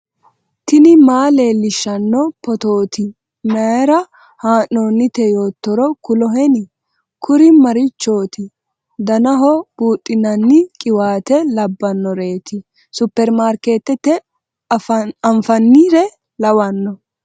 tini maa leellishshanno phootooti mayra haa'noonnite yoottoro kuloheni ? kuriu marichooti danaho buudhinanni qiwaate labbnnoreeti ? superimaarikeetete anfannire lawanno .